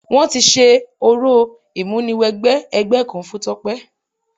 Wọ́n ti ṣe orò ìmúniwẹgbẹ́ ẹgbẹ́ kan fún Tọ́pẹ́.